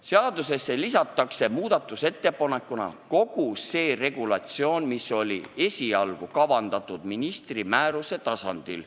Seadusesse lisatakse muudatusettepanekuna kogu see regulatsioon, mis esialgu oli kavandatud esitatama ministri määruse tasandil.